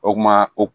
O kuma o